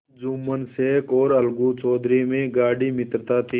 जुम्मन शेख और अलगू चौधरी में गाढ़ी मित्रता थी